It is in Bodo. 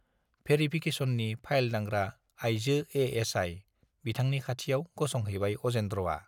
भेरिफिकेसननि फाइल दांग्रा आइजो एएसआइ बिथांनि खाथियाव गसंहैबाय अजेन्द्रआ।